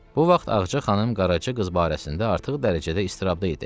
Bu vaxt Ağca xanım Qaraca qız barəsində artıq dərəcədə istirabda idi.